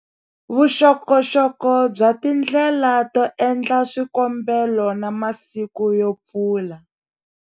Vuxokoxoko bya tindlela to endla swikombelo na masiku yo pfula.